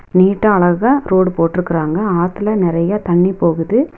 நீட்டா அழகா ரோடு போட்ருக்குறாங்க ஆத்துல நெறையா தண்ணி போகுது.